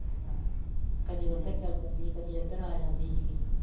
ਹੂੰ ਕਦੀ ਉੱਧਰ ਚੱਲ ਜਾਂਦੀ ਸੀ, ਕਦੀ ਇੱਧਰ ਆ ਜਾਂਦੀ ਸੀ